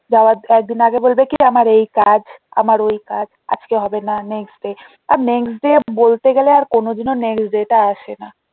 যাওয়ার কয়েকদিন আগে বলবে কি আমার এই কাজ আমার ওই কাজ আজকে হবে না next day আর next day বলতে গেলে আর কোনোদিনও next day টা আসে না